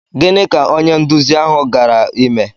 Gịnị ka onye nduzi ahụ gara ime?